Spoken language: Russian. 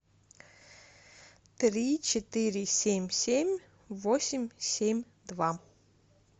три четыре семь семь восемь семь два